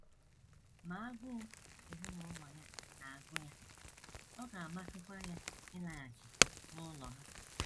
Ma agụụ ezinụlọ ya na - agụ ya, ọ ga - amasịkwa ya ịlaghachi n’ụlọ ha.